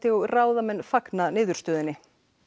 og ráðamenn fagna niðurstöðunni